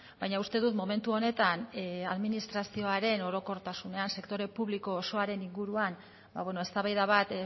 baina uste dut momentu honetan administrazioaren orokortasunean sektore publiko osoaren inguruan ba bueno eztabaida bat